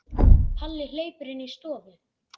Palli hleypur inn í stofu.